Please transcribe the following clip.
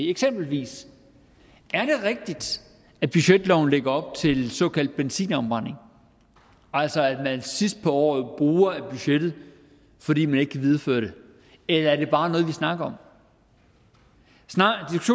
eksempelvis rigtigt at budgetloven lægger op til såkaldt benzinafbrænding altså at man sidst på året bruger af budgettet fordi man ikke kan videreføre det eller er det bare noget vi snakker